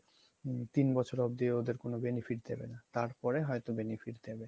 তিন বছর অব্দি ওদের কোনো benefit দেবে না তারপর হয়তো benefit দেবে